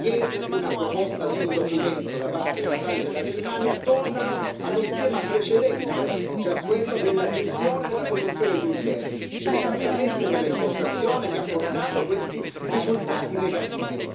Ieri una proposta di un documento da parte della Francia e della Germania torna allo schema precedente, cioè a quello della gestione della Commissione Juncker, cioè esattamente quella impostazione che ha portato questi risultati negativi.